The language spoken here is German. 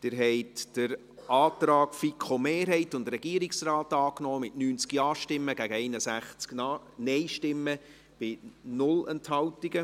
Sie haben den Antrag der FiKo-Mehrheit und des Regierungsrates angenommen, mit 90 Ja- gegen 61 Nein-Stimmen bei 0 Enthaltungen.